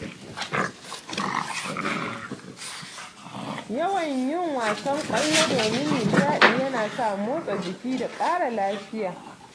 Yawan yin wasan kwallo domin nishaɗi ya na sa motsa jiki da ƙara lafiya